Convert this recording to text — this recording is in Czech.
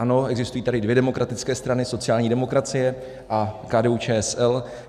Ano, existují tady dvě demokratické strany - sociální demokracie a KDU-ČSL.